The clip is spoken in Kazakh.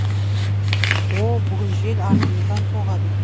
о бүгін жел артымыздан соғады